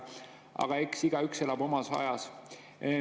Aga eks igaüks elab omas ajas.